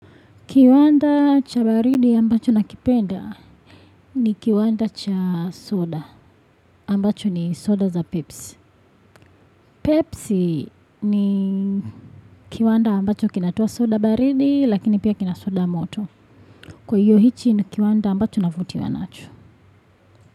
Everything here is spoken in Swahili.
Kiwanda cha baridi ambacho nakipenda ni kiwanda cha soda ambacho ni soda za Pepsi. Pepsi ni kiwanda ambacho kinatoa soda baridi lakini pia kina soda moto. Kwa hiyo hichi ni kiwanda ambacho navutiwa nacho.